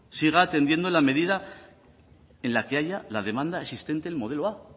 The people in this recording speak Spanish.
siga atendiendo en la medida que haya la demanda existente en modelo a